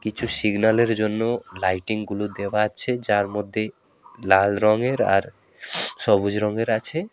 কিছু সিগন্যালের জন্য লাইটিং গুলো দেওয়া আছে যার মধ্যে লাল রঙের আর সবুজ রঙের আছে।